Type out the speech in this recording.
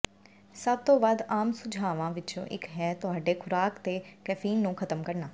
ਸਭ ਤੋਂ ਵੱਧ ਆਮ ਸੁਝਾਵਾਂ ਵਿੱਚੋਂ ਇੱਕ ਹੈ ਤੁਹਾਡੇ ਖੁਰਾਕ ਤੋਂ ਕੈਫੀਨ ਨੂੰ ਖਤਮ ਕਰਨਾ